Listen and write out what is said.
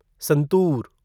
santoor